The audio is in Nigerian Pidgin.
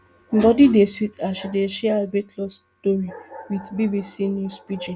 bodi dey sweet her as she dey share her weight loss tori wit bbc news pidgin